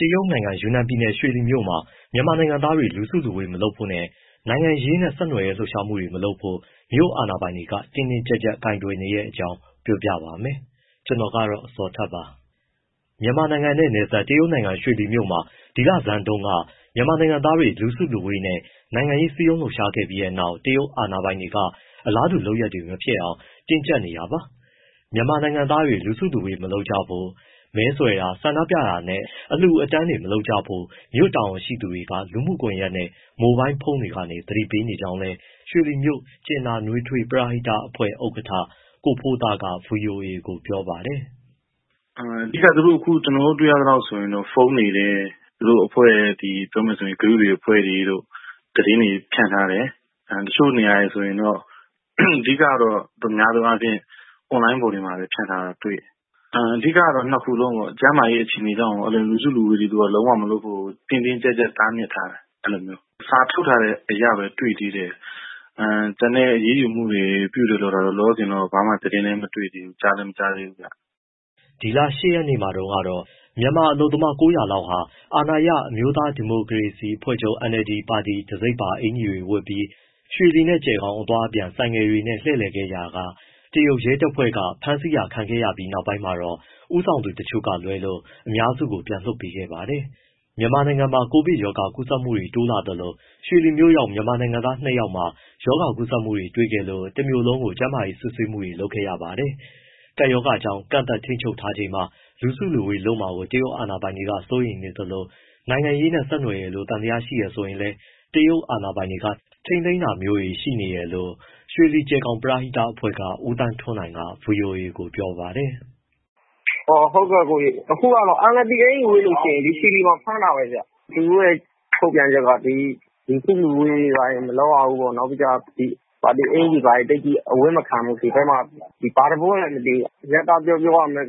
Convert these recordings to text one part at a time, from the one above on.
တရုတ်နိုင်ငံ ယူနန်ပြည်နယ် ရွှေလီမြို့မှာ မြန်မာနိုင်ငံသားတွေ လူစုလူဝေး မလုပ်ဖို့နဲ့ နိုင်ငံရေးနဲ့ ဆက်နွယ်တဲ့ လှုပ်ရှားမှုတွေ မလုပ်ဖို့ မြို့အာဏာပိုင်တွေ တင်းတင်းကြပ်ကြပ် ကိုင်တွယ်နေတဲ့အကြောင်း ပြောပြပါမယ်။ ဗွီအိုအေမြန်မာပိုင်းသတင်ထောက် ကိုဇော်ထက်က ပြောပြပေးပါမယ်။ မြန်မာနိုင်ငံနဲ့နယ်စပ် တရုတ်နိုင်ငံ ရွှေလီမြို့မှာ ဒီလဆန်းပိုင်းတုန်းက မြန်မာနိုင်ငံသားတွေ လူစုလူဝေးနဲ့ နိုင်ငံရေး စည်းရုံးလှုပ်ရှားခဲ့ပြီးနောက် တရုတ်အာဏာပိုင်တွေက အလားတူ လုပ်ရပ်တွေ မဖြစ်အောင် တင်းကြပ်နေတာပါ။ မြန်မာနိုင်ငံသားတွေ လူစုလူဝေးမလုပ်ကြဖို့ မဲဆွယ်တာ၊ ဆန္ဒပြတာနဲ့ အလှူအတန်းတွေ မလုပ်ကြဖို့ မြို့တာဝန်ရှိသူတွေက လူမှုကွန်ရက်နဲ့ မိုဘိုင်းဖုန်းတွေကနေ သတိပေးနေကြောင်းလည်း ရွှေလီမြို့ ကြင်နာနွေးထွေး ပရဟိတအဖွဲ့ ဥက္ကဋ္ဌ ကိုဖိုးသားက ဗွီအိုအေကို ပြောပါတယ်။ “အဓိက ကျနော်တို့ တွေ့ရသလောက်ဆိုရင် ဖုန်းတွေထဲ၊ သူတို့အဖွဲ့ group အဖွဲ့တွေတို့ သတင်းတွေ ဖြန့်ထားတယ်၊ တချို့နေရာတွေ ဆိုရင်တော့ အဓိက များသောအားဖြင့် အွန်လိုင်းပေါ် ဖြန့်ထားတာတွေ့တယ်၊ နှစ်ခုလုံးပေါ့ ကျန်းမာရေး အခြေအနေကြောင့်ရော လူစုလူဝေးတွေ လုံးဝမလုပ်ဖို့ တင်းတင်းကျပ်ကျပ် တားမြစ်ထားတယ်၊ အဲလို စာထုတ်ထားတဲ့အရပဲ တွေ့သေးတယ်၊ အရေးယူမှုတွေတော့ လောလောဆယ်ဘာမှ သတင်းလည်း မတွေ့သေးဘူး၊ ကြားလည်း မကြားသေးဘူး။” ဒီလ ၈ ရက်နေ့မှာတုန်းကတော့ မြန်မာအလုပ်သမား ၉၀၀ လောက်ဟာ အာဏာရအမျိုးသားဒီမိုကရေစီအဖွဲ့ချုပ် NLD ပါတီတံဆိပ်ပါ အကျီတွေဝတ်ပြီး ရွှေလီနဲ့ ကျယ်ဂေါင် အသွားအပြန် ဆိုင်ကယ်တွေနဲ့ လှည့်လည်ခဲ့ရာက တရုတ်ရဲတပ်ဖွဲ့က ဖမ်းဆီးတာခံခဲ့ရပြီး နောက်ပိုင်းမှာတော့ ဦးဆောင်သူတချို့ကလွဲလို့ အများစုကို ပြန်လွှတ်ပေးခဲ့ပါတယ်။ မြန်မာနိုင်ငံမှာ ကိုဗစ်ကပ်ရောဂါ ကူးစက်မှုတွေ တိုးလာနေသလို ရွှေလီမြို့ရောက် မြန်မာနိုင်ငံသား ၂ ယောက်မှာ ရောဂါကူးစက်မှုတွေ တွေ့ခဲ့လို့ တမြို့လုံးကို ကျန်းမာရေးစစ်ဆေးမှုတွေ လုပ်ခဲ့ရပါတယ်။ ကပ်ရောဂါကြောင့် ကန့်သတ်ထိန်းချုပ်ထားချိန်မှာ လူစုလူဝေးလုပ်မှာကို တရုတ်အာဏာပိုင်တွေ စိုးရိမ်နေသလို နိုင်ငံရေးနဲ့ ဆက်နွယ်တယ်လို့ သံသယရှိတယ်ဆိုရင်လည်း တရုတ်အာဏာပိုင်တွေက ထိန်းသိမ်းတာမျိုးတွေ ရှိနေတယ်လို့ ရွှေလီ- ကျယ်ဂေါင် ပရဟိတအဖွဲ့က ဦးသန်းထွန်းနိုင်က ဗွီအိုအေကို ပြောပါတယ်။ “အခုဟာက NLD အကျီဝတ်ရင် ရွှေလီမှာ ဖမ်းတာပဲဗျ၊ သူတို့ရဲ့ ထုတ်ပြန်ချက်က လူစုလူဝေးတွေဘာတွေ မလုပ်ရဘူး။ နောက် ပါတီအင်္ကျီဘာတွေ သိပ်အဝတ်မခံဘူး။ ဒီဘက်မှာ၊ ဘာသဘောလည်း မသိဘူး။ အရပ်ပြော ပြောရရင် NLD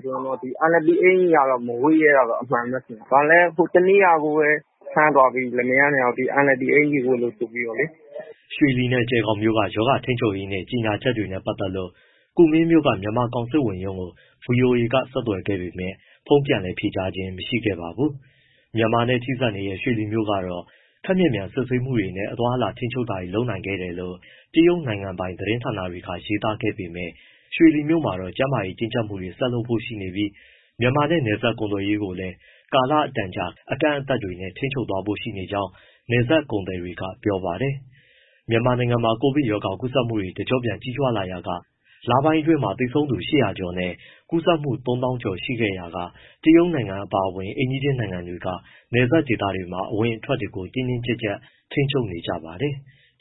အကျီကတော့ မဝတ်ရဲတာအမှန်ပဲ။ ဟိုတနေ့ကပဲ ဖမ်းသွားပြီ လင်မယားနှစ်ယောက် NLD အကျီဝတ်လို့ ဆိုပြီးတော့လေ။” ရွှေလီနဲ့ ကျယ်ဂေါင်မြို့က ရောဂါထိန်းချုပ်ရေးနဲ့ ကြေညာချက်တွေနဲ့ ပတ်သက်လို့ ကူမင်းမြို့က မြန်မာကောင်စစ်ဝန်ရုံးကို ဗွီအိုအေက ဆက်သွယ်ခဲ့ပေမဲ့ ဖုန်းပြန်လည် ဖြေကြားခြင်းမရှိခဲ့ပါဘူး။ မြန်မာနဲ့ ထိစပ်နေတဲ့ ရွှေလီမြို့ကတော့ ခပ်မြန်မြန်စစ်ဆေးမှုနဲ့ အသွားအလာ ထိန်းချုပ်တာတွေ လုပ်ခဲ့နိုင်တယ်လို့ တရုတ်နိုင်ငံပိုင် သတင်းဌာနတွေက ရေးသားနေပေမဲ့ ရွှေလီမြို့မှာ ကျန်းမာရေးတင်းကျပ်မှုတွေ ဆက်လုပ်ဖို့ ရှိနေပြီး မြန်မာနဲ့ နယ်စပ်ကုန်သွယ်ရေးကိုလည်း ကာလအတန်ကြာ အကန့်အသတ်တွေနဲ့ ထိန်းချုပ်သွားဖို့ရှိနေကြောင်း နယ်စပ်ကုန်သည်တွေက ပြောပါတယ်။ မြန်မာနိုင်ငံမှာ ကိုဗစ်ကပ်ရောဂါ ကူးစက်မှုတွေ တကျော့ပြန် ကြီးထွားလာရာက လပိုင်းအတွင်း သေဆုံးသူ ၈၀၀ ကျော်နဲ့ ကူးစက်မှု ၃၀,၀၀၀ ကျော် ရှိခဲ့ရာက တရုတ်နိုင်ငံအပါအဝင် အိမ်နီးချင်းနိုင်ငံတွေက နယ်စပ်ဒေသတွေမှာ အဝင်အထွက်တွေကို တင်းတင်းကြပ်ကြပ် ထိန်းချုပ်နေကြပါတယ်။